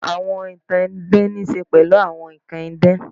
Àwọn ìtàn idán ní í ṣe pẹ̀lú àwọn nnkan idán